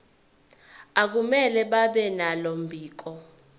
akumele babenalo mbiko